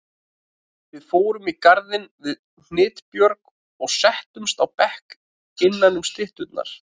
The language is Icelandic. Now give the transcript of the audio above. Við fórum í garðinn við Hnitbjörg og settumst á bekk innanum stytturnar.